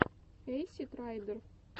эйсид райдер